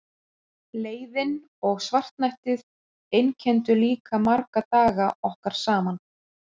Leiðinn og svartnættið einkenndu líka marga daga okkar saman.